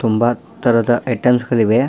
ತುಂಬಾ ತರದ ಐಟಮ್ಸ್ ಗಳಿವೆ .